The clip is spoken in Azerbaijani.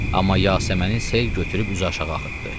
Amma Yasəməni sel götürüb üzü aşağı axıtdı.